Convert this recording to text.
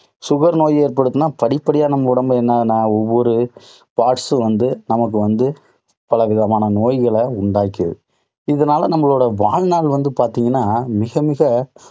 sugar நோய் ஏற்பட்டுதுன்னா படிப்படியா நம்ம உடம்புல நா~நா~ஒவ்வொரு parts சும் நமக்கு வந்து பல விதமான நோய்களை உண்டாக்கிருது. இதனால நம்மளோட வாழ்நாள் வந்து பார்த்தீங்கன்னா, மிகமிக